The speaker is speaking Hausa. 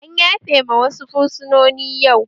An yafe ma wasu fursunoni yau